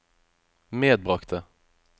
medbragte